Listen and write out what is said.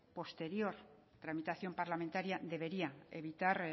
posterior tramitación parlamentaria debería evitar